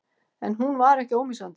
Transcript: En hún var ekki ómissandi.